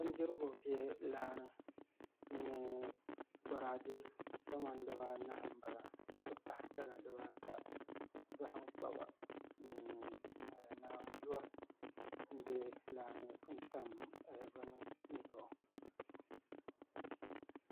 Bindirigu bɛ laa ni nnyɛ boraadɛ kamani dibanahi n bala n ti pahi gala dibaata zaham kpaba ni naanzuwa n bɛ laa ni n tam bini zuɣu